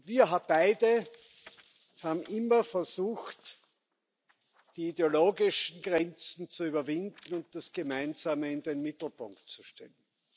Wir haben beide immer versucht, die ideologischen Grenzen zu überwinden und das Gemeinsame in den Mittelpunkt zu stellen.